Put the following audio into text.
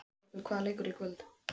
Gautrekur, hvaða leikir eru í kvöld?